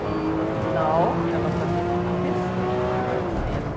E, no final, ela fazia questão de entrar em cena.